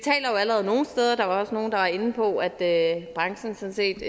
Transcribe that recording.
allerede nogle steder og der var nogle der var inde på at branchen sådan set